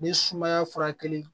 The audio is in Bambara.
Ni sumaya furakɛli